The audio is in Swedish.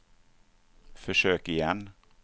försök igen